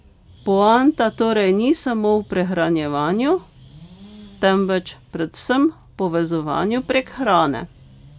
Poanta torej ni samo v prehranjevanju, temveč predvsem v povezovanju prek hrane.